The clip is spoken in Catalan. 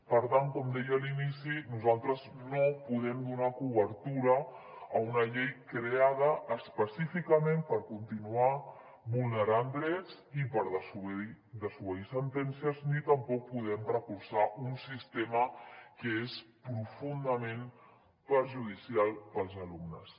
per tant com deia a l’inici nosaltres no podem donar cobertura a una llei creada específicament per continuar vulnerant drets i per desobeir sentències ni tampoc podem recolzar un sistema que és profundament perjudicial per als alumnes